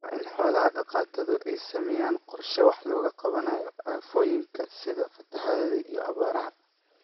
Waa in xoola dhaqatadu ay sameeyaan qorshe wax looga qabanayo aafooyinka sida fatahaadaha iyo abaaraha.